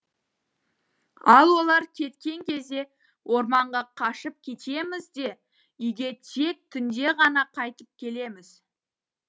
ал олар кеткен кезде орманға қашып кетеміз де үйге тек түнде ғана қайтып келеміз